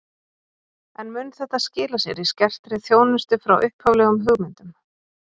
En mun þetta skila sér í skertri þjónustu frá upphaflegum hugmyndum?